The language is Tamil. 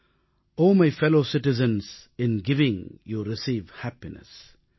ஒ my fellow citizens in giving you receive happiness